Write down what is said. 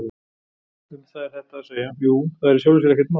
Um það er þetta að segja: Jú, það er í sjálfu sér ekkert mál.